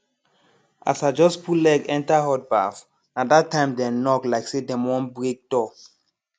as i just put leg enter hot baff na that time dem knock like say dem wan break door